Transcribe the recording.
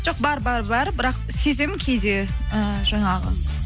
жоқ бар бірақ сеземін кейде ы жаңағы